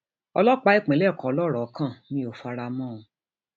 ọlọpàá ìpínlẹ kọ lọrọ kàn mí ò fara mọ ọn